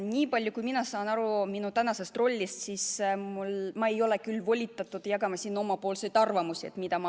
Niipalju kui ma saan aru oma tänasest rollist, ma ei ole küll volitatud jagama omapoolseid arvamusi.